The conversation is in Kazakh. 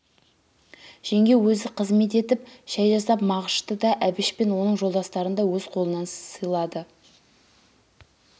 жеңге өзі қызмет етіп шай жасап мағышты да әбіш пен оның жолдастарын да өз қолынан сыйлады